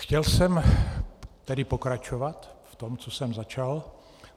Chtěl jsem tedy pokračovat v tom, co jsem začal.